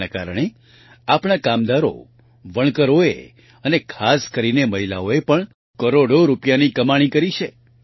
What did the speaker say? તેના કારણે આપણા કામદારો વણકરોએ અને ખાસ કરીને મહિલાઓએ પણ કરોડો રૂપિયાની કમાણી કરી છે